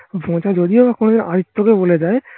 যদি ও কোনোদিন আদিত্য কে বলে দেয়